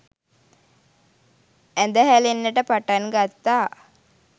ඇද හැළෙන්නට පටන් ගත්තා